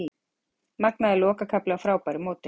Magnaður lokakafli á frábæru móti